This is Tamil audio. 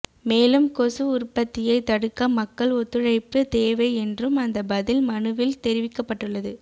மேலும் கொசு உற்பத்தியை தடுக்க மக்கள் ஒத்துழைப்பு தேவை என்றும் அந்த பதில் மனுவில் தெரிவிக்கப்பட்டுள்ளது